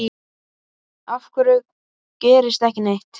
Af hverju gerist ekki neitt?